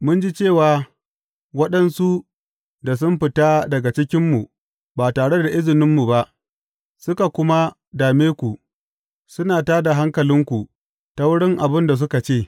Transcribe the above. Mun ji cewa, waɗansu da sun fita daga cikinmu ba tare da izininmu ba suka kuma dame ku, suna tā da hankalinku ta wurin abin da suka ce.